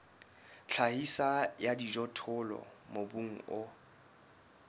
tlhahiso ya dijothollo mobung o